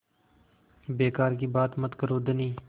बेकार की बात मत करो धनी